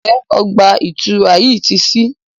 Njé ọgba-itura yí tí sí?